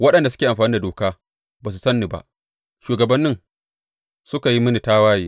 Waɗanda suke amfani da doka ba su san ni ba; shugabanni suka yi mini tawaye.